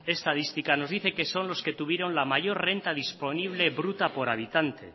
estadística nos dice que son los que tuvieron la mayor renta disponible bruta por habitante